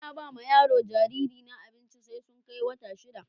Ba na ba ma yaro jariri na abinci sai sun kai wata shida.